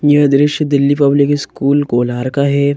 यह दृश्य Delhi public school Golar का है।